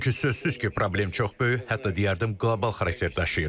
Çünki sözsüz ki, problem çox böyük, hətta deyərdim, qlobal xarakter daşıyır.